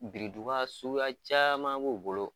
Biriduga suguya caman b'u bolo.